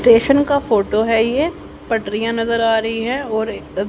station का photo है यह पटरिया नजर आ रही है और--